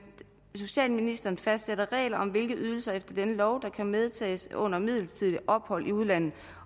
socialministeren fastsætter regler om hvilke ydelser efter denne lov der kan medtages under midlertidige ophold i udlandet